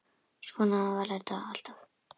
Svona var þetta alltaf.